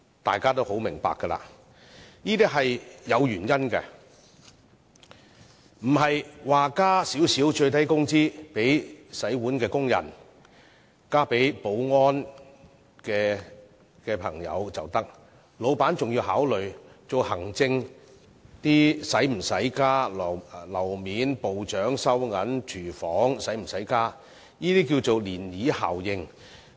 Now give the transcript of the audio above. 大家都很明白箇中的原因，問題不是把洗碗工人或保安員的最低工資提高少許便可以，老闆還要考慮行政人員、樓面員工、部長、收銀員、廚房員工等是否要加薪，這稱為漣漪效應。